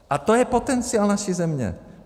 A to je potenciál naší země.